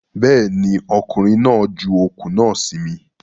Bẹ́ẹ̀ ni, ọkùnrin náà ju okùn náà sí mi.